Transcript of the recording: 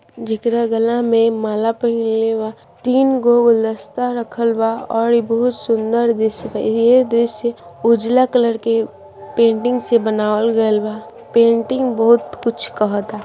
जकरा गला में माला पहीनले बा तीन गो गुलदस्ता रखल बा और इ बहुत सुंदर दृश्य बा ये दृश्य उजाला कलर के पेंटिंग से बनावल गइल बा पेंटिंग बहुत कुछ कहाता।